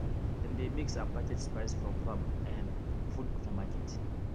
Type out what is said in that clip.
dem dey mix and package spice from farm um food for market